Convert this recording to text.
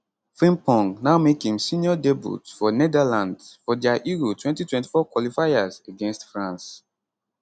frimpong now make im senior debut for netherlands for dia euro 2024 qualifiers against france